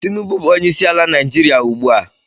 Tinubu bụ onye isiala Naịjiria ugbu a